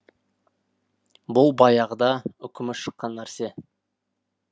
бұл баяғыда үкімі шыққан нәрсе